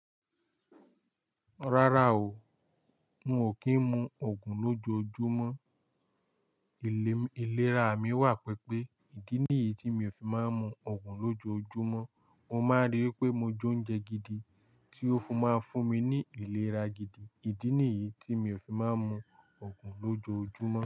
Rárá o, n o kin mú ògùn lójojúmọ́. Ilé ìlera mi wà pẹpẹ. Ìdí nìyí tí mi o fi máa ń mu ògùn lójojúmọ́. Mo máa ń rí i pé mo jóún jẹ gidi tí ó fún máa ń fún mi ní ìlera gidi. Ìdí nìyí tí mi o fi máa ń mu ògùn lójojúmọ́